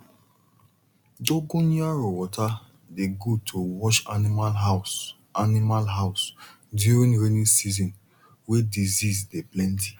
dogonyaro water dey good to wash animal house animal house during rainy season wey disease dey plenty